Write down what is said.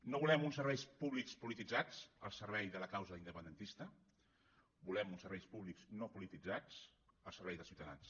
no volem uns serveis públics polititzats al servei de la causa independentista volem uns serveis públics no polititzats al servei dels ciutadans